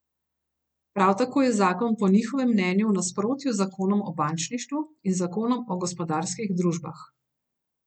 Prav tako je zakon po njihovem mnenju v nasprotju z zakonom o bančništvu in zakonom o gospodarskih družbah.